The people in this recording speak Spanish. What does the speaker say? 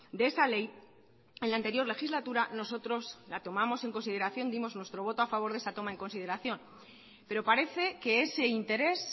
de esa ley en la anterior legislatura nosotros la tomamos en consideración dimos nuestro voto a favor de esa toma en consideración pero parece que ese interés